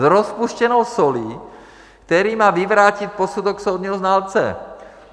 s rozpuštěnou solí, který má vyvrátit posudek soudního znalce.